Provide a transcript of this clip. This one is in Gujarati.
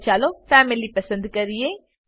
આગળ ચાલો ફેમિલી પસંદ કરીએ